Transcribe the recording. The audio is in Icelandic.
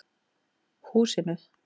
Húsinu